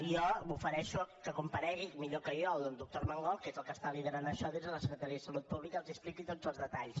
i jo m’ofereixo que comparegui millor que jo el doctor armengol que és el que està liderant això des de la secretaria de salut pública i els expliqui tots els detalls